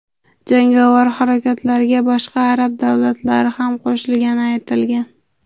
Jangovar harakatlarga boshqa arab davlatlari ham qo‘shilgani aytilgan.